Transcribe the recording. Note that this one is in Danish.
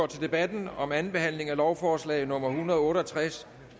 til debatten om andenbehandlingen af lovforslag nummer l en hundrede og otte og tres